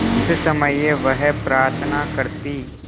उस समय वह प्रार्थना करती